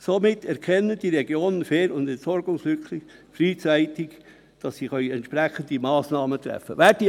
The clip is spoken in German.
Somit erkennen die Regionen Ver- und Entsorgungslücken frühzeitig […]», damit sie entsprechende Massnahmen treffen können.